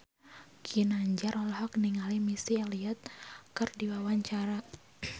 Ginanjar olohok ningali Missy Elliott keur diwawancara